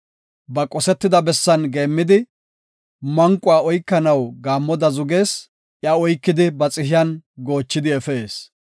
Ba qosetida bessan geemmidi, manquwa oykanaw gaammoda zugees; iya oykidi ba xihiyan goochidi efees.